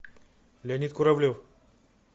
леонид куравлев